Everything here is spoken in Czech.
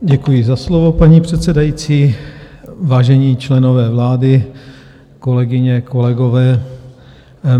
Děkuji za slovo, paní předsedající, vážení členové vlády, kolegyně, kolegové.